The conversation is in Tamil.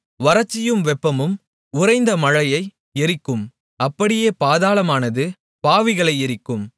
வறட்சியும் வெப்பமும் உறைந்த மழையை எரிக்கும் அப்படியே பாதாளமானது பாவிகளை எரிக்கும்